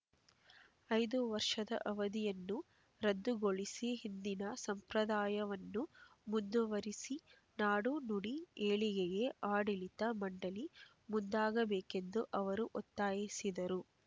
ಐದು ವರ್ಷದ ಅವಧಿಯನ್ನು ರದ್ದುಗೊಳಿಸಿ ಹಿಂದಿನ ಸಂಪ್ರದಾಯವನ್ನು ಮುಂದುವರೆಸಿ ನಾಡು ನುಡಿ ಏಳಿಗೆಗೆ ಆಡಳಿತ ಮಂಡಳಿ ಮುಂದಾಗಬೇಕೆಂದು ಅವರು ಒತ್ತಾಯಿಸಿದರು